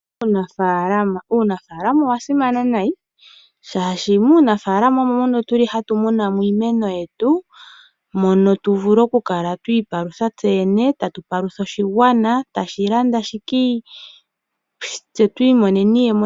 Uunafalama, uunafalama owa simana nayi, shashi muunafalama omo mono tuli hatumunamo iimeno yetu, mono tu vule okula twipalutha tseyene, tatu palutha oshigwana, tashi landa shikii, tse twimoneni iyemo.